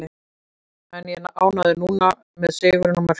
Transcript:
En ég er ánægður núna, með sigurinn og mörkin.